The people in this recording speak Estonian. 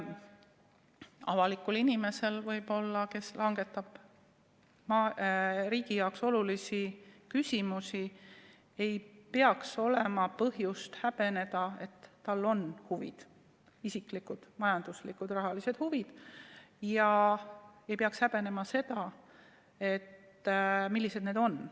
Avalikul inimesel, kes langetab riigi jaoks olulisi otsuseid, ei peaks olema põhjust häbeneda, et tal on huvid – isiklikud, majanduslikud, rahalised huvid –, ja ta ei peaks häbenema seda, millised need on.